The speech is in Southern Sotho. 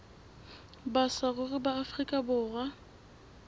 ba saruri ba afrika borwa